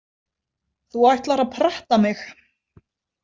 Þú ætlar að pretta mig.